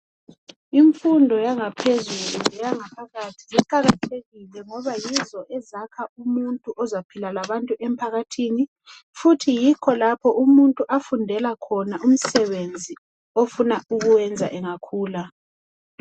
Imfundo yangaphezulu iqakathekile ngoba yizo ezakha umuntu ozaphila labantu emphakathini futhi yikho lapho umuntu afundela khona umsebenzi ofuna ukuwenza engakhula.